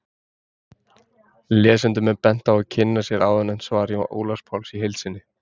Lesendum er bent á að kynna sér áðurnefnt svar Ólafs Páls í heild sinni.